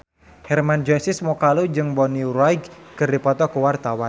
Hermann Josis Mokalu jeung Bonnie Wright keur dipoto ku wartawan